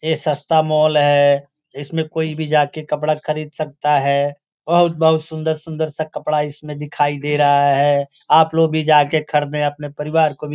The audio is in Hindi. ये सस्ता मॉल है इसमें कोई भी जाके कपड़ा खरीद सकता है बहुत-बहुत सुन्दर-सुन्दर सा कपड़ा इसमें दिखाई दे रहा है आप लोग भी जाकर के खरीदे और अपने परिवार को भी --